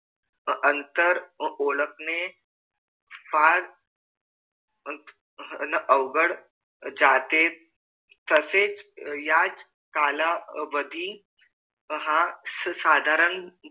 अंतर ओळखणे फार अवघड जाते तसेच याच कालावधी हा साधारण